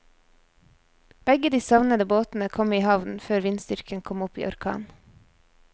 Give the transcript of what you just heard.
Begge de savnede båtene kom i havn før vindstyrken kom opp i orkan.